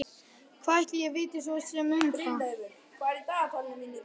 Hvað ætli ég viti svo sem um það.